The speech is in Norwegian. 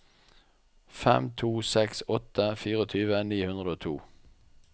fem to seks åtte tjuefire ni hundre og to